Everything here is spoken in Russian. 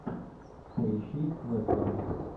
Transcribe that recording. поищи вестерн